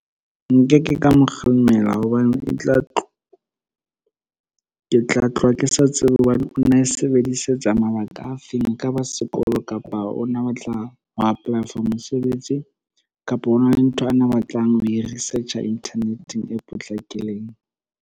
Nke ke ka mo kgalemela hobane ke tloha ke sa tsebe hobane o na e sebedisetsa mabaka a feng, e ka ba sekolo, kapa o na batla ho apply-a for mosebetsi, kapa hona le ntho ana a batla ho e research-a inthaneteng e potlakileng.